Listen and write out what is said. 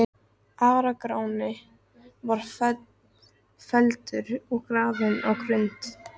Ara-Gráni var felldur og grafinn á Grund.